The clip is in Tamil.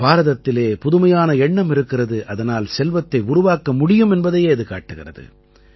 பாரதத்திலே புதுமையான எண்ணம் இருக்கிறது அதனால் செல்வத்தை உருவாக்க முடியும் என்பதையே இது காட்டுகிறது